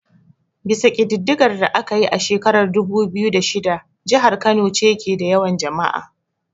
Bisa kididdigar da aka yi a shekarar dubu biyu da shida, jihar Kano ce ke da yawan jama'a.